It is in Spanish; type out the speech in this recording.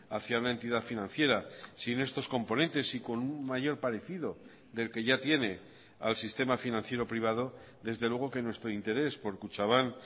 hacia una entidad financiera sin estos componentes y con un mayor parecido del que ya tiene al sistema financiero privado desde luego que nuestro interés por kutxabank